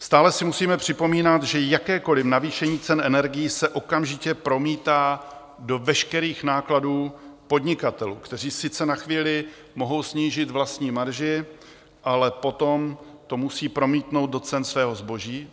Stále si musíme připomínat, že jakékoliv navýšení cen energií se okamžitě promítá do veškerých nákladů podnikatelů, kteří sice na chvíli mohou snížit vlastní marži, ale potom to musí promítnout do cen svého zboží.